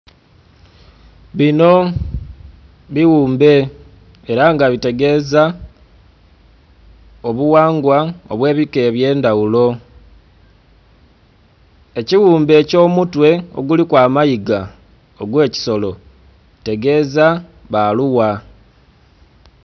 Bino biwumbe era nga bitegeeza obuwangwa obwebika ebyendhaghulo. Ekiwumbe ekyomutwe oguliku amayiga ogwekisolo kitegeza baluwa.